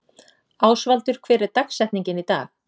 Ásvaldur, hver er dagsetningin í dag?